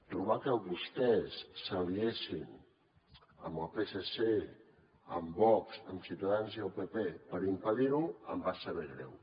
trobar que vostès s’aliessin amb el psc amb vox amb ciutadans i el pp per impedir ho em va saber greu